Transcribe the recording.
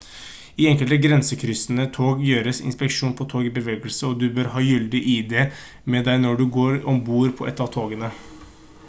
i enkelte grensekryssende tog gjøres inspeksjoner på tog i bevegelse og du bør ha gyldig id med deg når du går om bord på et av togene